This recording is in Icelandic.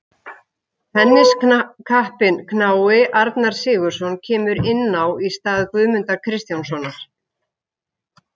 Tenniskappinn knái Arnar Sigurðsson kemur inn á í stað Guðmundar Kristjánssonar.